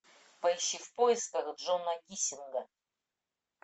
поищи в поисках джона гиссинга